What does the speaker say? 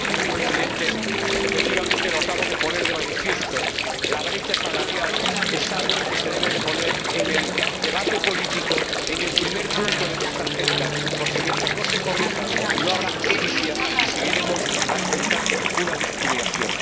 Señor Presidente, efectivamente lo acabo de poner de manifiesto la brecha salarial es algo que se debe plantear en el debate político, en el primer punto de nuestra agenda, porque, mientras no se corrija, no habrá justicia y seguiremos alimentando una discriminación.